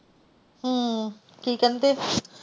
ਹਮ ਕਿ ਕਹਿੰਦੇ।